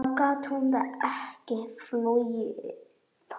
Þá gat hún ekki flogið.